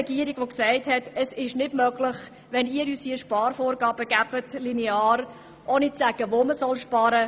Die Regierung hat gesagt, es sei nicht möglich, lineare Sparvorgaben zu erfüllen, wenn man nicht vorgebe, wo man sparen solle.